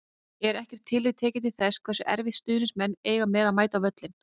Er ekkert tillit tekið til þess hversu erfitt stuðningsmenn eiga með að mæta á völlinn?